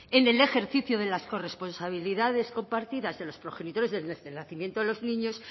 en el ejercicio de las corresponsabilidades compartidas de los progenitores desde el nacimiento de los niños